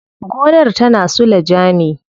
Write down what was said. Gonar tana suleja ne.